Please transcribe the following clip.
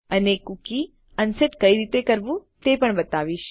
અને cookie unset કઈ રીતે કરવું તે પણ બતાવીશ